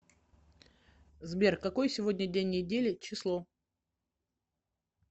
сбер какой сегодня день недели число